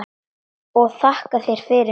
Og þakka þér fyrir mig.